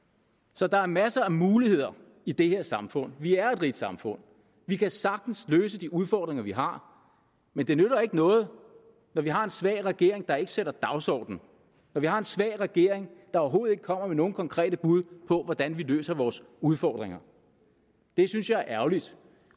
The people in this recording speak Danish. så der er masser af muligheder i det her samfund vi er et rigt samfund vi kan sagtens løse de udfordringer vi har men det nytter ikke noget når vi har en svag regering der ikke sætter en dagsorden når vi har en svag regering der overhovedet ikke kommer med nogle konkrete bud på hvordan vi løser vores udfordringer det synes jeg er ærgerligt